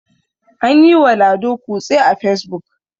an yiwa lado kutse a fesbuk